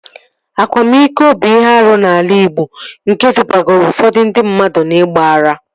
Akwamiko bụ ihe arụ n'ala igbo nke dubagoro ụfọdụ ndị mmadụ n'igba ara